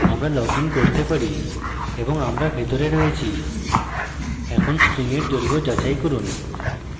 আমরা লগইন করতে পারি এবং আমরা ভিতরে রয়েছি এখন string we দৈর্ঘ্য যাচাই করুন